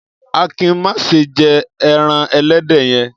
Akin má ṣe jẹ ẹran ẹlẹ́dẹ̀ yẹn!